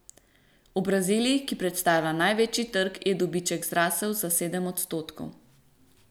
V Braziliji, ki predstavlja največji trg, je dobiček zrasel za sedem odstotkov.